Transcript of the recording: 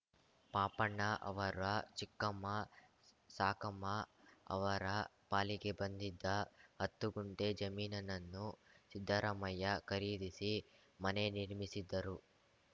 ಪಾಪಣ್ಣ ಅವರ ಚಿಕ್ಕಮ್ಮ ಸಾಕಮ್ಮ ಅವರ ಪಾಲಿಗೆ ಬಂದಿದ್ದ ಹತ್ತು ಕುಂಟೆ ಜಮೀನನ್ನು ಸಿದ್ದರಾಮಯ್ಯ ಖರೀದಿಸಿ ಮನೆ ನಿರ್ಮಿಸಿದ್ದರು